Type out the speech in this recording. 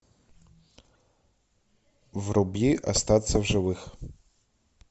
вруби остаться в живых